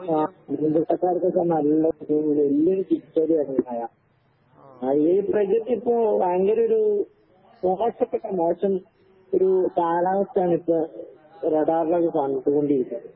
ആഹ്. മീൻപിടുത്തക്കാർക്കൊക്കെ നല്ല വല്യൊരു തിരിച്ചടിയാണീ മഴ. അതീ പ്രകൃതി ഇപ്പോ ഭയങ്കരൊരു മോശപ്പെട്ട മോശം ഒരു കാലാവസ്ഥയാണിപ്പ റഡാറിലൊക്കെ കാണിച്ച് കൊണ്ടിരിക്കാ.